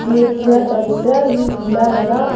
ये पूरा चबूतरा ही गिला लगा--